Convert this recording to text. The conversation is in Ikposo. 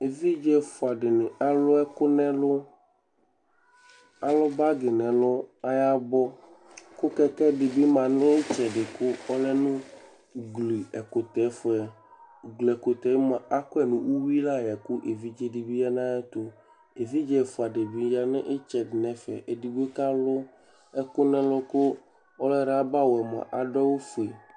évidze efua dini alũ ɛkũ nẽlũ alũ bagi ne lũ aya bɔ kũ kɛkɛ dibi manũ ïtsɛdï kũ ɔnu ugli ẽkũtɛ fuẽ ugli ekutɛ mua akuẽ nu uyui layẽ kũ évidze dibi ya naetũ evidze ɛfua dibi ya nitsedi nɛfɛ edigbo k'alũ ɛkũ nɛlũ kũ ɔlue labae mua aduawũ fué